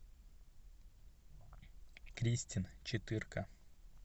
кристин четырка